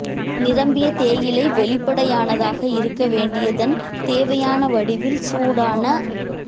நிரம்பிய தேயிலை வெளிப்படையானதாக இருக்க வேண்டியதன் தேவையான வடிவில் சூடான